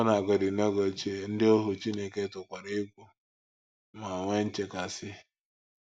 Ọbụnagodị n’oge ochie, ndị ohu Chineke tụkwara egwu ma nwee nchekasị.